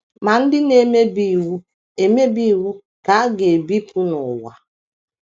Ma ndị na - emebi iwu - emebi iwu ka a ga - ebipụ n’ụwa. ”